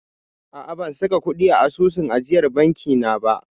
A'a, ban saka kuɗi a asusun ajiyar banki na ba.